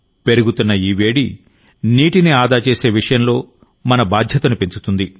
పెరుగుతున్నఈ వేడి నీటిని ఆదా చేసే విషయంలో మన బాధ్యతను పెంచుతుంది